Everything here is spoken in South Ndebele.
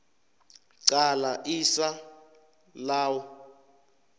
qala isa law